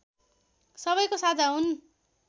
सबैको साझा हुन्